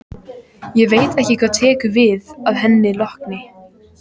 Ég veit ekki hvað tekur við að henni lokinni.